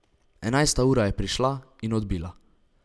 Enajsta ura je prišla in odbila.